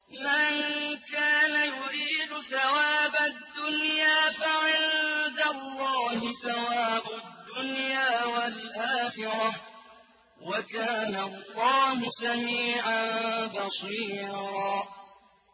مَّن كَانَ يُرِيدُ ثَوَابَ الدُّنْيَا فَعِندَ اللَّهِ ثَوَابُ الدُّنْيَا وَالْآخِرَةِ ۚ وَكَانَ اللَّهُ سَمِيعًا بَصِيرًا